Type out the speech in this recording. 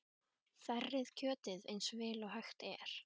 Þerrið kjötið eins vel og hægt er.